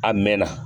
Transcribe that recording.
A mɛn na